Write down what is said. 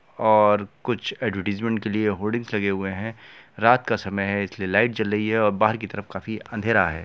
--और कुछ एडवरटाइजमेंट के लिए होर्डिंग्स लगे हुए है रात का समय है इसलिए लाइट जल रही है और बाहर की तरफ काफी अंधेरा है।